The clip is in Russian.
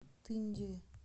тынде